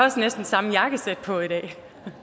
også næsten samme jakkesæt på i dag